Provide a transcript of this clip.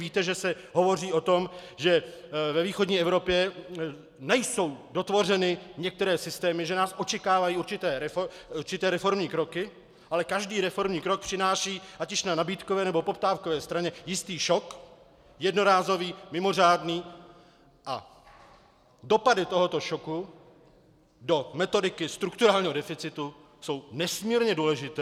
Víte, že se hovoří o tom, že ve východní Evropě nejsou dotvořeny některé systémy, že nás očekávají určité reformní kroky, ale každý reformní krok přináší ať již na nabídkové, nebo poptávkové straně jistý šok, jednorázový, mimořádný, a dopady tohoto šoku do metodiky strukturálního deficitu jsou nesmírně důležité.